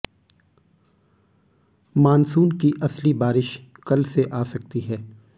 monsoon की असली बारिश कल से आ सकती है